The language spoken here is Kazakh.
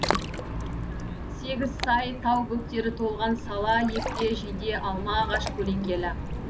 сегіз сай тау бөктері толған сала екпе жиде алма ағаш көлеңкелі